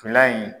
Ntolan in